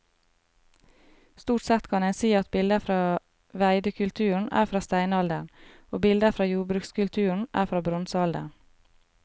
Stort sett kan en si at bilder fra veidekulturen er fra steinalderen og bilder fra jordbrukskulturen er fra bronsealderen.